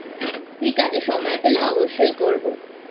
ঠিক আছে সময় পেলে অবশ্যই করবোI